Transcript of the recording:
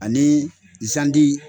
Ani zanti